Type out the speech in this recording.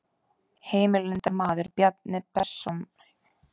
Heimildarmaður: Bjarni Bessason dósent, Verkfræðistofnun HÍ.